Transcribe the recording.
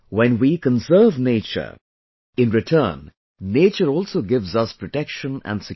when we conserve nature, in return nature also gives us protection and security